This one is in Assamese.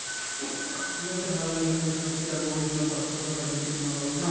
ঠিক আছে ভাল লাগিলে কথাপাতি আৰু বহুত দিনৰ পাছত কথাপাতিছো তোমাৰ লগত ন